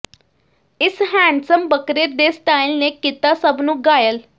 ਇਸ ਹੈਂਡਸਮ ਬੱਕਰੇ ਦੇ ਸਟਾਇਲ ਨੇ ਕੀਤਾ ਸਭ ਨੂੰ ਘਾਇਲ